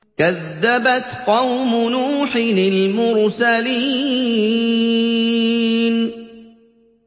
كَذَّبَتْ قَوْمُ نُوحٍ الْمُرْسَلِينَ